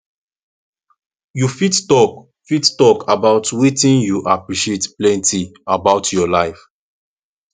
you fit talk fit talk about wetin you appreciate plenty about your life